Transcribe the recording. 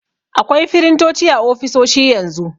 Akwai firintoci a ofisoshi yanzu.